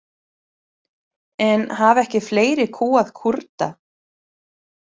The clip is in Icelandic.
En hafa ekki fleiri kúgað Kúrda?